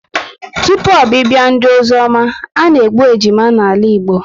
Tụpụ obibia ndị ozioma, ana-egbu ejima n'ala Igbo